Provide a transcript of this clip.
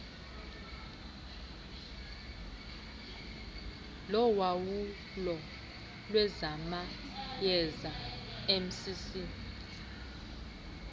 lowawulo lwezamayeza mcc